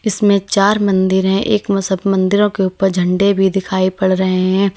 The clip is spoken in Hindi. इसमें चार मंदिर है एक म सब मंदिरों के ऊपर झंडे भी दिखाई पड़ रहे है।